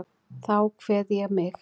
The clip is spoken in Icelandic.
Þá kveð ég þig.